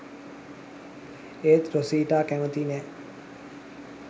එත් රොසිටා කැමති නෑ